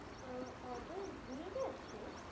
আহ order ভুলে গেছে?